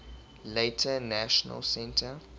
later national centre